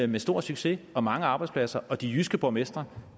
med stor succes og mange arbejdspladser og de jyske borgmestre